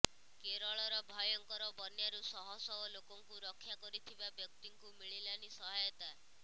କେରଳର ଭୟଙ୍କର ବନ୍ୟାରୁ ଶହ ଶହ ଲୋକଙ୍କୁ ରକ୍ଷା କରିଥିବା ବ୍ୟକ୍ତିଙ୍କୁ ମିଳିଲାନି ସହାୟତା